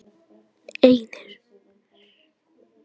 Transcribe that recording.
einir